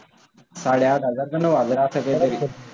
साडे आठ हजार का, नऊ हजार असं काहीतरी.